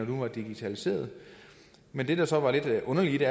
nu var digitaliseret men det der så var lidt underligt i det